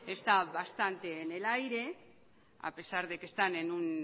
está bastante en el aire a pesar de que están en un